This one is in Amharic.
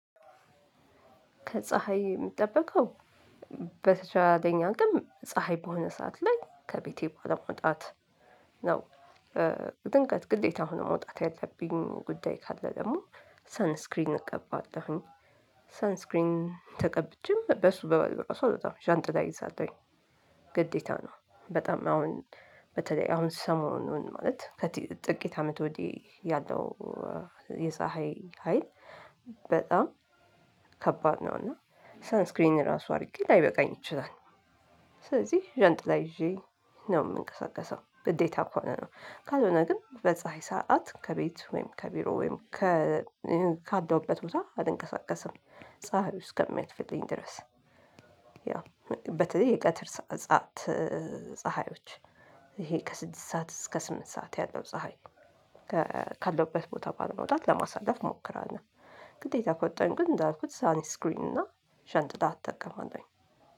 ከፀሀይ እምጠበቀው በተቻለኝ አቅም ፀሀይ በሆነ ሰዓት ላይ ከቤቴ ባለመውጣት ነው። ድንገት ግዴታ ሆኖ መውጣት ያለብኝ ጉዳይ ካለ ደግሞ ሰንስክሪን እቀባለሁኝ። ሰንስክሪን ተቀብቼም በሱ ብቻ አልወጣም ዣንጥላ እይዛለሁኝ። ግዴታ ነው በጣም አሁን በተለይ አሁን ስሞኑን ማለት ከጥቂት አመት ወዲህ ያለው የፀሀይ ሀይል። በጣም ከባድ ነው እና ሰንስክሪን ራሱ አድርጌ ላይበቃኝ ይችላል። ስለዚህ ዣንጥ ይዤ ነው የምንቀሳቀሰው ግዴታ ከሆነ ነው። ካልሆነ ግን በፀሀይ ሰዓት ከቤት ወይም ከቢሮ ወይም ከ ካለሁበት ቦታ አልንቀሳቀስም ፀሀዩ እስከሚያልፍልኝ ድረስ። በተለይ የቀትር ሰዓት ፀሀዮች ይሄ ከስድስት ሰዓት እስከ ስምንት ሰዓት ያለው ፀሀይ ካለውበት ቦታ ባለመውጣት ለማሳለፍ እሞክራለሁ። ግዴታ ከወጣሁኝ ግን እንዳልኩት ሳን ስክሪን እና ዣንጥላ እጠቀማለሁኝ።